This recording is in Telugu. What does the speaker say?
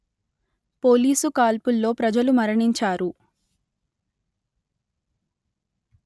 పోలీసు కాల్పుల్లో ప్రజలు మరణించారు